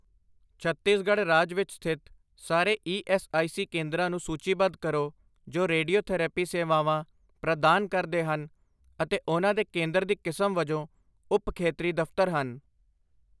ਛੱਤੀਸਗੜ੍ਹ ਰਾਜ ਵਿੱਚ ਸਥਿਤ ਸਾਰੇ ਈ ਐੱਸ ਆਈ ਸੀ ਕੇਂਦਰਾਂ ਨੂੰ ਸੂਚੀਬੱਧ ਕਰੋ ਜੋ ਰੇਡੀਓਥੈਰੇਪੀ ਸੇਵਾਵਾਂ ਪ੍ਰਦਾਨ ਕਰਦੇ ਹਨ ਅਤੇ ਉਹਨਾਂ ਦੇ ਕੇਂਦਰ ਦੀ ਕਿਸਮ ਵਜੋਂ ਉਪ ਖੇਤਰੀ ਦਫ਼ਤਰ ਹਨ।